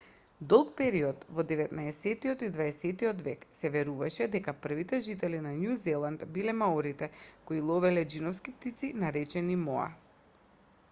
долг период во деветнаесеттиот и дваесеттиот век се веруваше дека првите жители на њу зеланд биле маорите кои ловеле џиновски птици наречени моа